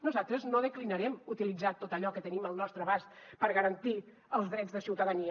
nosaltres no declinarem utilitzar tot allò que tenim al nostre abast per garantir els drets de ciutadania